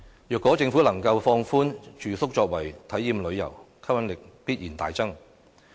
如果政府能夠放寬住宿作為體驗旅遊，吸引力必然大增。